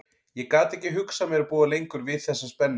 Ég gat ekki hugsað mér að búa lengur við þessa spennu.